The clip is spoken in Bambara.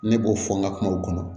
Ne b'o fɔ n ka kumaw kɔnɔ